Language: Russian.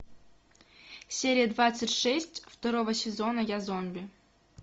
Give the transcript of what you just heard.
серия двадцать шесть второго сезона я зомби